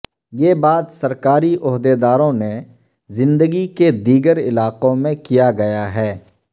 یہ بات سرکاری عہدیداروں نے زندگی کے دیگر علاقوں میں کیا گیا ہے